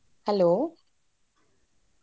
Hello .